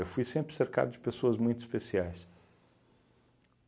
fui sempre cercado de pessoas muito especiais.